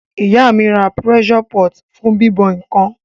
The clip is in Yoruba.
Ìyá mí ra pressure pot fún bíbọ̀ nkan